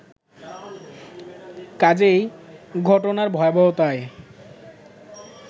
কাজেই ঘটনার ভয়াবহতায়